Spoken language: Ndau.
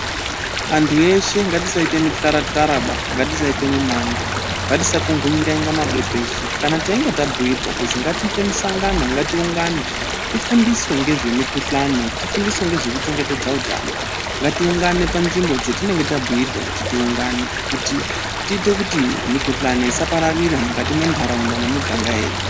Antu eshe ngatisaite mityara-tyaraba. Ngatisaite mimango, ngatisakongonyeka kunge mabembezu kana teinge tabhuirwa kuti ngatiite musangano ngatiungane tifunduswe ngezvemikhuhlane, tifunduswe ngezvekuchengetedza utano ngatiungane panzvimbo dzatinenge tabhuirwa kuti tiungane kuti tiite kuti mikhuhlane isapararira mukati mwentaraunda nemiganga yedu.